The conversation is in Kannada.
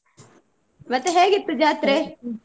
ಮತ್ತೆ ಹೇಗಿತ್ತು ಜಾತ್ರೆ?